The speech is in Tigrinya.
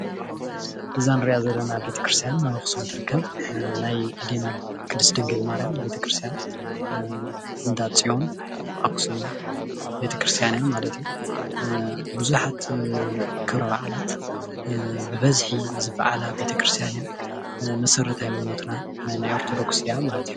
እዛ እንሪኣ ዘለና ቤተ ክርስትያን ኣብ ኣክሱም ትርከብ፡፡ ናይ ኣዴና ቅድስቲ ድንግል ማርያም ቤተክርስትያን እንዳፅዮን ኣክሱም ቤተክርስትያን እዩ ማለት እዩ፡፡ ቡዙሓት ክብረ በዓላት ብበዝሒ ዝበዓላ መሰረተ ሃይማኖትና ናይ ኦርተዶክስ እያ ማለት እዩ፡፡